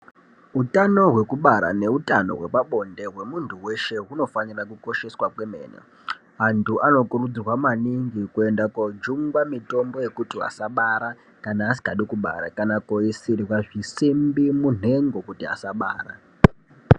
Utano hwekubara neutano hwepabonde hwemuntu weshe hunofanira kukosheswa kwemene. Antu anokurudzirwa maningi kuenda kojungwa mitombo yekuti asabara kana asikadi kubara, kana kooisirwa zvisimbi munhengo kuti asabara.